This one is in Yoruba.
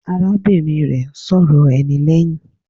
Arábìnrin rẹ̀ ń sọ̀rọ̀ ẹni lẹ́hìn.